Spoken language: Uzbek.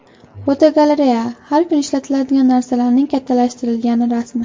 Fotogalereya: Har kuni ishlatiladigan narsalarning kattalashtirilgan rasmi.